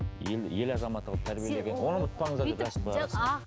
ел ел азаматы қылып тәрбиелеген